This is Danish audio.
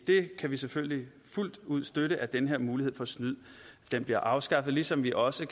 vi kan selvfølgelig fuldt ud støtte at den her mulighed for snyd nu bliver afskaffet ligesom vi også